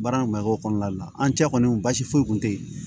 Baara in mako kɔnɔna de la an cɛ kɔni basi foyi kun tɛ yen